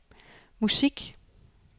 musik